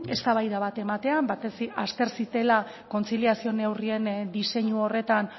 eztabaida bat ematea batez ere azter ziten kontziliazio neurrien diseinu horretan